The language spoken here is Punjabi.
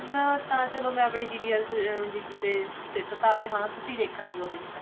ਹੁਣ ਤਾਂ ਚਲੋ ਮੈਂ ਆਪਣੀ ਦੀਦੀ ਅਤੇ ਜੀਜੂ ਤੇ ਸਿੱਟ ਤਾ ਵੀ ਤੁਸੀਂ ਦੇਖਣਾ ਜੋ ਵੀ ਦੇਖਣਾ